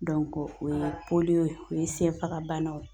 o ye ye o ye senfagabanaw